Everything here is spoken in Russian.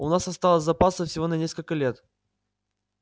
у нас осталось запасов всего на несколько лет